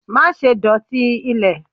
ma sé dotí ilè!